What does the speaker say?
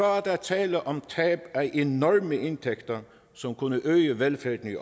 er der tale om tab af enorme indtægter som kunne øge velfærden i